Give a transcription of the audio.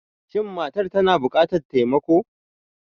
Shin matar tana bukatar taimako?